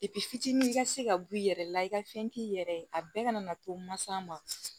fitinin ka se ka b'i yɛrɛ la i ka fɛn k'i yɛrɛ ye a bɛɛ kana to mansa ma